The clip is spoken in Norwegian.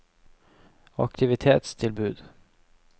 aktivitetstilbud